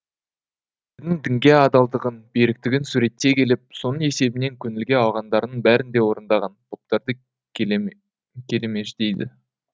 дінге адалдығын беріктігін суреттей келіп соның есебінен көңілге алғандарының бәрін де орындаған поптарды келемеждейді